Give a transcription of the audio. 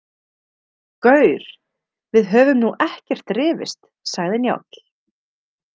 Gaur, við höfum nú ekkert rifist, sagði Njáll.